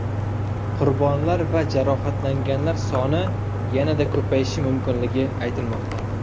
Qurbonlar va jarohatlanganlar soni yanada ko‘payishi mumkinligi aytilmoqda.